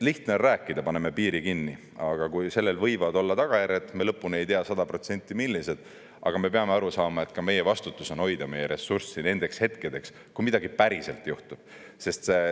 Lihtne on rääkida, et paneme piiri kinni, aga sellel võivad olla tagajärjed – me lõpuni ei tea sada protsenti, millised, aga me peame aru saama, et meie vastutus on hoida meie ressurssi nendeks hetkedeks, kui midagi päriselt juhtub.